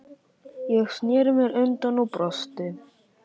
Ég sneri mér undan og brosti.